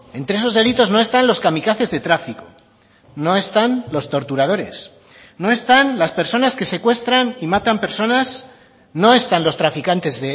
entre esos delitos no están los kamikazes de tráfico no están los torturadores no están las personas que secuestran y matan personas no están los traficantes